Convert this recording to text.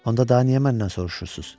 Onda da niyə məndən soruşursunuz?